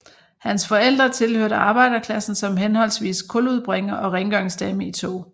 Hans forældre tilhørte arbejderklassen som henholdsvis kuludbringer og rengøringsdame i tog